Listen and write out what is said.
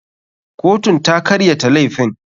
Kotun ta karyata laifin.